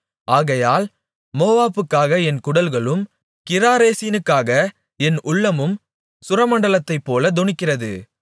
ஆகையால் மோவாபுக்காக என் குடல்களும் கிராரேசினுக்காக என் உள்ளமும் சுரமண்டலத்தைப்போல தொனிக்கிறது